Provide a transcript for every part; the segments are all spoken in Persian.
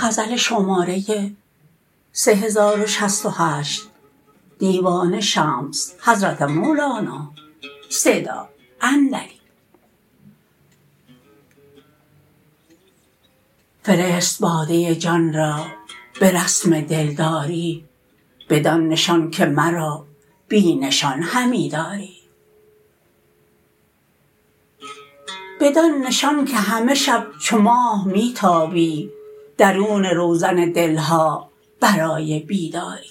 فرست باده جان را به رسم دلداری بدان نشان که مرا بی نشان همی داری بدان نشان که همه شب چو ماه می تابی درون روزن دل ها برای بیداری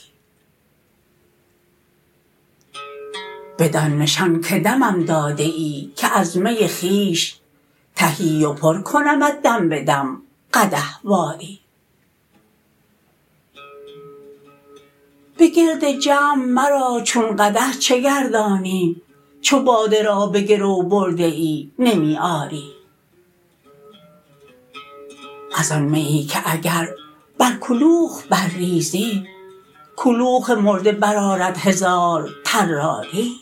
بدان نشان که دمم داده ای از می که خویش تهی و پر کنمت دم به دم قدح واری بگرد جمع مرا چون قدح چه گردانی چو باده را به گرو برده ای نمی آری از آن میی که اگر بر کلوخ برریزی کلوخ مرده برآرد هزار طراری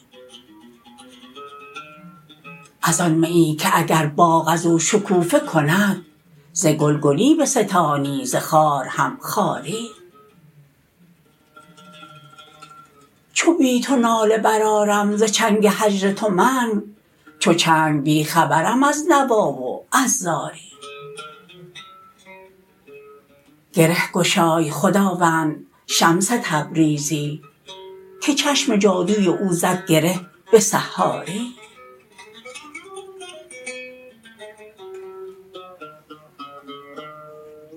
از آن میی که اگر باغ از او شکوفه کند ز گل گلی بستانی ز خار هم خاری چو بی تو ناله برآرم ز چنگ هجر تو من چو چنگ بی خبرم از نوا و از زاری گره گشای خداوند شمس تبریزی که چشم جادوی او زد گره به سحاری